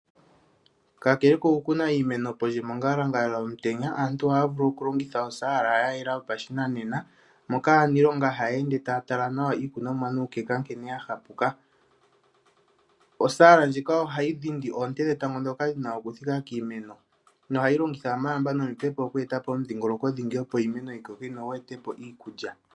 Kakele kokukuna iimeno mongalangala yomutenya aantu ohaya vulu oku longitha osaala yayela yopashinanena, moka aaniilonga haya ende taya tala iikunomwa nuukeka nkene ya hapuka. Osaala ndjika ohayi dhindi oonte dhetango ndhoka dhina okuthika kiimeno no hayi longitha omalamba nomipepo opo iimeno yi koke yo yi etepo iikulya.